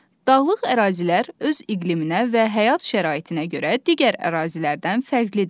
Dağlıq ərazilər öz iqliminə və həyat şəraitinə görə digər ərazilərdən fərqlidir.